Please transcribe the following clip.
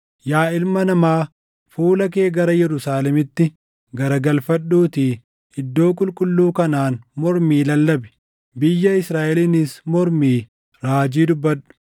“Yaa ilma namaa, fuula kee gara Yerusaalemitti garagalfadhuutii iddoo qulqulluu kanaan mormii lallabi. Biyya Israaʼeliinis mormii raajii dubbadhu;